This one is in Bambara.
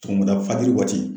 Sɔgɔmada fajiri waati